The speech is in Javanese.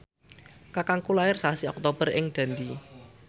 kakangku lair sasi Oktober ing Dundee